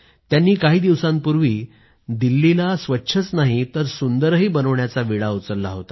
त्यांनी काही काळ अगोदर दिल्लीला स्वच्छच नाही तर सुंदरही बनवण्याचा विडा उचलला